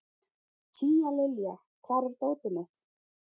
Tíalilja, hvar er dótið mitt?